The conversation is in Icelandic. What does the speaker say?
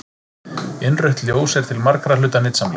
Innrautt ljós er til margra hluta nytsamlegt.